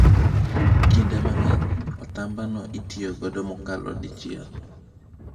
Kinde mang’eny, otambano itiyogo mokalo dichiel.